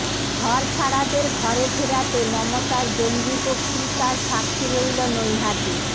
ঘরছাড়াদের ঘরে ফেরাতে মমতার জঙ্গি বক্তৃতার সাক্ষী রইল নৈহাটি